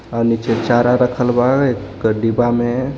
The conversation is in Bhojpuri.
और नीचे चारा रखल बा एक डिब्बा में--